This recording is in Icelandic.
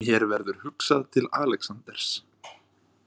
Mér verður hugsað til Alexanders.